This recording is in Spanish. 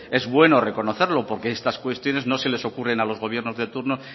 es bueno reconocerlo porque estas cuestiones no se les ocurre a los gobiernos de turno